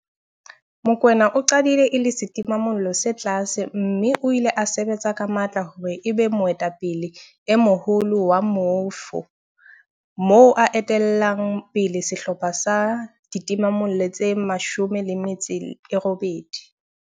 Mokoena o qadile e le setimamollo se tlase mme o ile a sebetsa ka matla hore e be moetapele e moholo wa moifo, moo a etellang pele sehlopha sa ditimamollo tse 18.